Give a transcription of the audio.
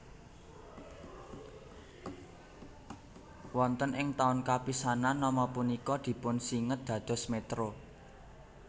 Wonten ing taun kapisanan nama punika dipunsinged dados Métro